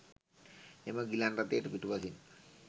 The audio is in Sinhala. එම ගිලන් රථයට පිටුපසින්